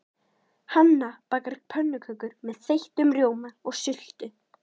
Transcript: Hanna bakar pönnukökur með þeyttum rjóma og sultu.